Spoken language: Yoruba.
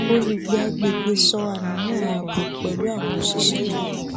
olùgbé agbègbè sọ àníyàn ààbò pẹlú àwọn òṣìṣé ìlú